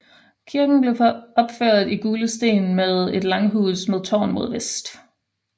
Kirken blev opført i gule sten med et langhus med tårn mod vest